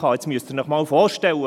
Jetzt müssen Sie sich vorstellen: